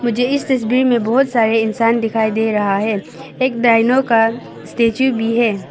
मुझे इस तस्वीर में बहुत सारे इंसान दिखाई दे रहा है एक डायनो का स्टेचू भी है।